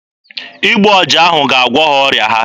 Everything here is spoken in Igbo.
Igbu ọja ahụ ga-agwọ ha ọrịa ha.